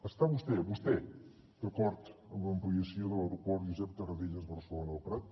està vostè vostè d’acord amb l’ampliació de l’aeroport josep tarradellas barcelona el prat